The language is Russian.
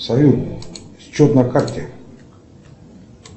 салют счет на карте